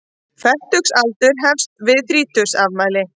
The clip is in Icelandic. Fertugsaldur hefst við þrítugsafmæli.